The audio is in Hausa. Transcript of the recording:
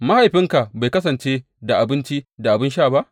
Mahaifinka bai kasance da abinci da abin sha ba?